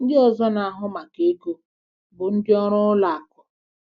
Ndị ọzọ na-ahụ maka ego bụ ndị ọrụ ụlọ akụ.